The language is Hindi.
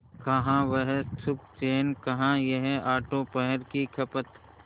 कहाँ वह सुखचैन कहाँ यह आठों पहर की खपत